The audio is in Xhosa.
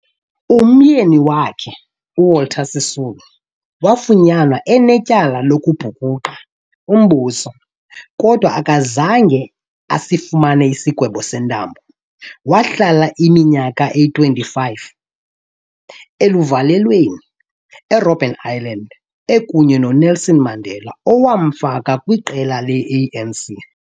Umyeni wakhe, uWalter Sisulu wafunyanwa enetyala lokubhukuqa umbuso, kodwa akazange asifumane isigwebo sentambo. Wahlala iminyaka eyi-25 eluvalelweni eRobben Island ekunye noNelson Mandela owamfaka kwiqela le-ANC.